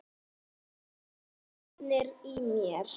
Skotnir í mér?